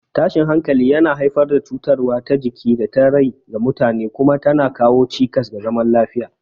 Tashin hankali yana haifar da cutarwa ta jiki da ta rai ga mutane kuma tana kawo cikas ga zaman lafiya.